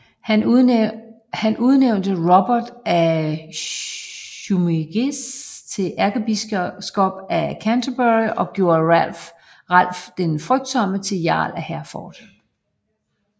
Han udnævnte Robert af Jumièges til ærkebiskop af Canterbury og gjorde Ralph den Frygtsomme til jarl af Hereford